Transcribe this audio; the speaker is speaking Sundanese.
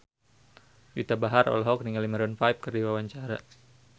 Juwita Bahar olohok ningali Maroon 5 keur diwawancara